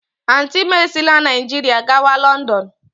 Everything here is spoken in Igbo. Auntị m esila Naijiria gawa Lọndọn.